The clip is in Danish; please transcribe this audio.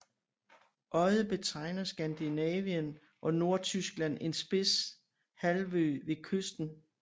Odde betegner i Skandinavien og Nordtyskland en spids halvø ved kysten